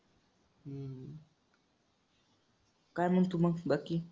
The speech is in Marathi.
काय म्हणतो मग बाकी?